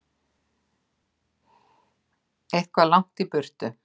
Eitthvað langt í burtu.